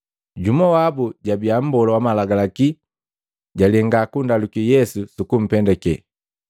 Jumu wabu, jabiya mbola wa malagalaki, jalenga kundaluki Yesu sukumpendake.